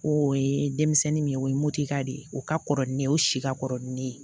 O ye denmisɛnnin min ye o ye motoka de ye o ka kɔrɔ ni ne ye o si ka kɔrɔ ni ne ye